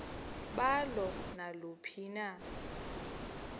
balo naluphi na